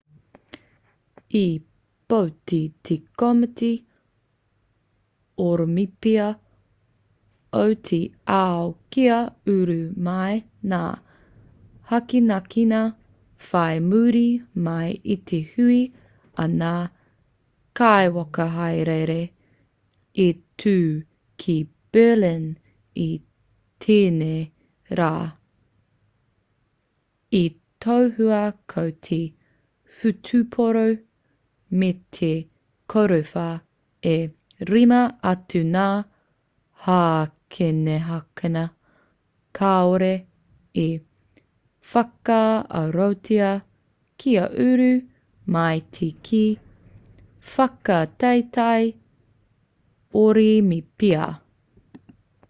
i pōti te komiti orimipia o te ao kia uru mai ngā hākinakina whai muri mai i te hui a ngā kaiwhakahaere i tū ki berlin i tēnei rā i tohua ko te whutupōro me te korowhā e rima atu ngā hākinakina kāore i whakaarotia kia uru mai ki te whakataetae orimipia